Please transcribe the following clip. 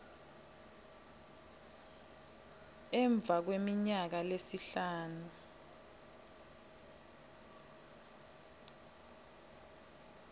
emva kweminyaka lesihlanu